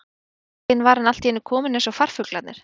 Einn daginn var hann allt í einu kominn eins og farfuglarnir.